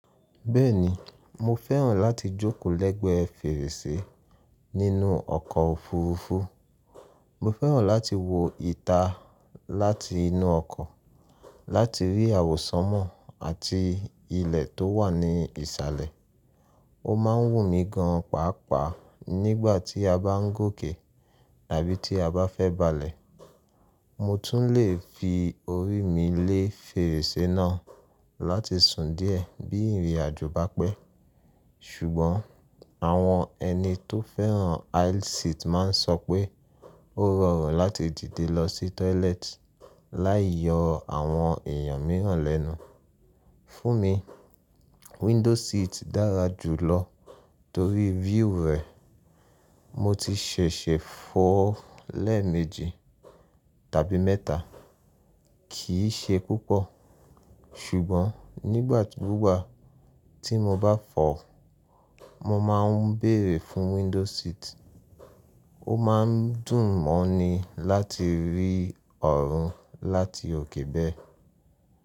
Bẹ́ẹ̀ni, mo fẹ́ràn láti jókòó lẹ́gbẹ̀ẹ́ fèrèsé nínú ọkọ̀ òfurufú. Mo fẹ́ràn láti wo ìta láti inú ọkọ̀ láti rí àwọsánmọ̀ àti ilẹ̀ tó wà ní ìsàlẹ̀. Ó máa ń wù mí gan pàápàá nígbà tí a bá ń gòkè tàbí tí a bá fẹ́ balẹ̀. Mo tún le fi orí mi lé fèrèsé náà láti sùn díẹ̀ bí ìrìnàjò bá pẹ́. Ṣùgbọ́n àwọn ẹni tó fẹ́ràn aisle seat máa ń sọ pé ó rọrùn láti dìde lọ sí toilet láì yọ àwọn èèyàn mìíràn lẹ́nu. Fún mi, window seat dára jùlọ torí view rẹ̀. Mo ti ṣẹ̀ṣẹ̀ fọ̀ lẹ́ẹ̀mejì tàbí mẹ́ta, kì í ṣe púpọ̀. Ṣùgbọ́n nígbà gbugba tí mo bá fọ̀, mo máa ń bèèrè fún window seat. Ó máa ń dùn mọ́ ni láti rí ọ̀run láti òkè bẹ́ẹ̀.